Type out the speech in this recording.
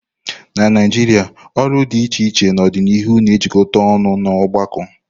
Na Naijiria olu dị iche iche n'ọdịnihu na-ejikọta ọnụ n'ọgbakọ.